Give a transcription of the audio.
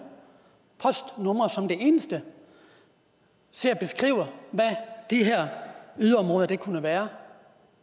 postnumre som det eneste til at beskrive hvad de her yderområder kunne være